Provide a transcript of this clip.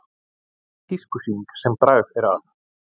Tískusýning sem bragð er að